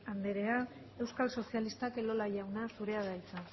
anderea euskal sozialistak elola jauna zurea da hitza